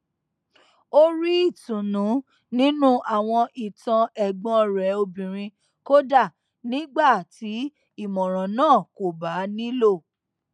ó rí ìtùnú nínú àwọn ìtàn ẹgbọn rẹ obìnrin kódà nígbà tí ìmọràn náà kò bá nílò